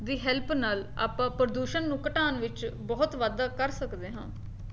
ਦੀ help ਨਾਲ ਆਪਾਂ ਪ੍ਰਦੂਸ਼ਣ ਨੂੰ ਘਟਾਉਣ ਵਿੱਚ ਬਹੁਤ ਵਾਧਾ ਕਰ ਸਕਦੇ ਹਾਂ